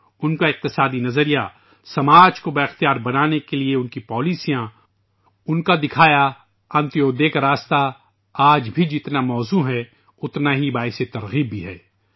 معاشیات کا ان کا فلسفہ ، معاشرے کو بااختیار بنانے کی ان کی پالیسیاں ، ان کے ذریعہ دکھایا گیا انتودے کا راستہ آج بھی جتنا موزوں ہے اتنا ہی باعث ترغیب بھی ہے